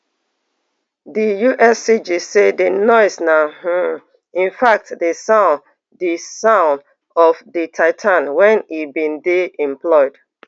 di uscg say di noise na um infact di sound di sound of di titan wen e bin dey